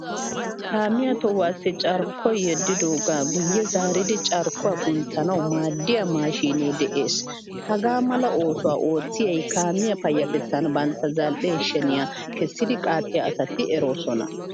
Kaamiyaa tohuwassi carkkoy yedidoga guye zaaridi carkkuwaa kunttanawu maadiyaa maashine de'ees. Hagaamala oosuwaa oottiyay kaamiyaa payatettan bantta zal'e sheniyaa kessidi qaaxiyaa asati eroosona.